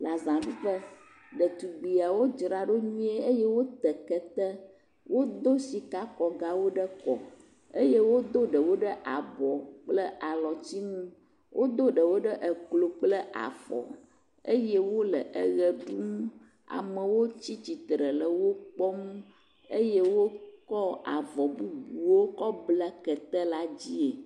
Le zaɖuƒe. Ɖetugbiawo dzra ɖo nyuie eye wote kete. Wodo sikakɔgawo ɖe kɔ eye wodo ɖewo ɖe abɔ kple alɔtsinu. Wodo ɖewo ɖe eklo kple afɔ eye wole eʋe ɖum. Amewo tsitsitre le wo kpɔm eye wokɔ avɔ bubuwo kɔ ble keta la dzie.